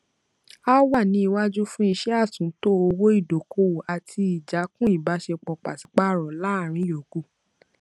a wà ní iwájú fún iṣẹ àtúntò owó ìdókòwò àti ìjákùn ìbáṣepọ pàsípàrọ láàrin yòókù